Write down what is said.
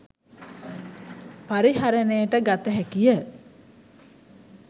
පරිහරණයට ගත හැකිය.